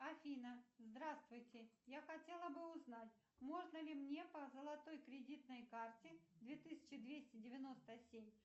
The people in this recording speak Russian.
афина здравствуйте я хотела бы узнать можно ли мне по золотой кредитной карте две тысячи двести девяносто семь